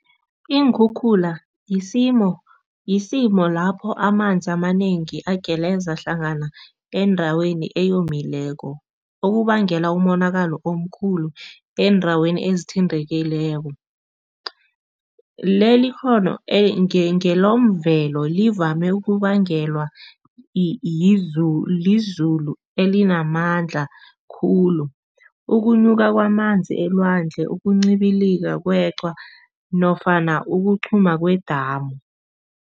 Iinkhukhula yisimo yisimo lapho amanzi amanengi ageleza hlangana endaweni eyomileko, okubangela umonakalo omkhulu eendaweni ezithintekileko. Leli ikghono ngelomvelo, livame ukubangelwa lizulu elinamandla khulu, ukunuka kwamanzi elwandle, ukuncibilia kweqhwa nofana ukuqhuma kwedamu.